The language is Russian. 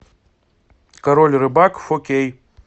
король рыбак фо кей